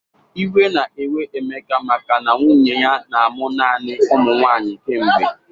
Iwe na-ewe Emeka maka na nwunnye ya na-amụ naanị ụmụnwaanyị kemgbe.